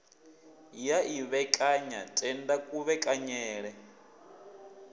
ya i vhekanya tenda kuvhekaneyele